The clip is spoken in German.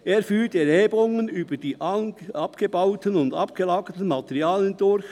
Er führt Erhebungen über die abgebauten und abgelagerten Materialien durch.